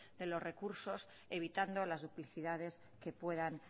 de los recursos evitando las duplicidades que puedan